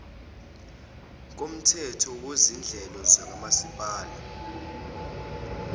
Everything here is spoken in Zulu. komthetho wezinhlelo zomasipala